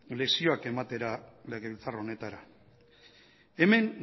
lezioa ematera legebiltzar honetara hemen